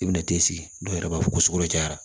I bɛna t'i sigi dɔw yɛrɛ b'a fɔ ko sukoro cayara